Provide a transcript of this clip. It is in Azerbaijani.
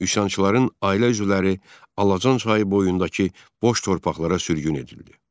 Üsyançıların ailə üzvləri Alacan çayı boyundakı boş torpaqlara sürgün edildi.